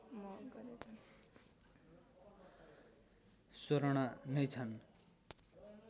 स्वर्ण नै छन्